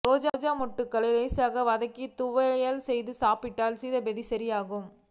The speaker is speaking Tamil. ரோஜா மொட்டுக்களை லேசாக வதக்கி துவையல் செய்து சாப்பிட்டால் சீதபேதி சரியாகும்